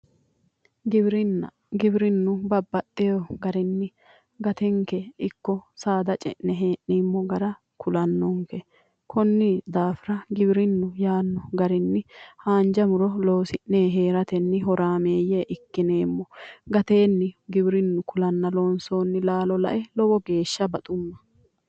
Giwirinna giwirinnu babbaxxewo garinni gatenke ikko saada ce'ne hee'neemmo gara kulannonke konni daafira giwirinnu yaanno garinni haanja muro loosi'ne heeratenni horaameeyye ikkineemmo gateenni giwirinnu kulanna loonsoonni laalo la'e lowo geesha baxumma